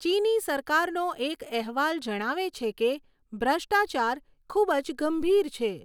ચીની સરકારનો એક અહેવાલ જણાવે છે કે ભ્રષ્ટાચાર 'ખૂબ જ ગંભીર' છે.